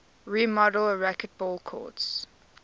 remodeled racquetball courts